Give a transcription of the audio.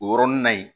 O yɔrɔnin na yen